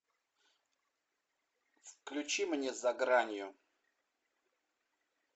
включи мне за гранью